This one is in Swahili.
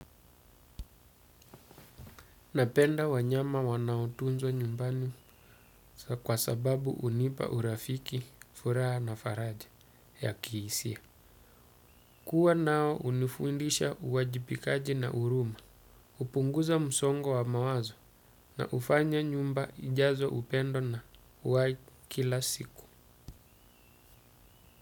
Napenda wanyama wanaotunza nyumbani kwa sababu hunipa urafiki, furaha na faraja ya kihisia. Kua nao hunifundisha uwajibikaji na huruma, hupunguza msongo wa mawazo na hufanya nyumba ijaze upendo na uwai kila siku.